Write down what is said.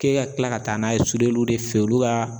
K'e ka kila ka taa n'a ye de fe yen olu ka